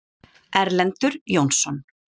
Erlendur Jónsson.